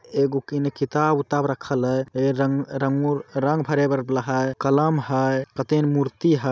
एगो किन किताब वुताब रखैल है। रंग रंगो रंग भरे वाला है कलम है कथन मूर्ति है।